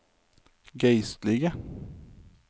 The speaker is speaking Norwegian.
geistlige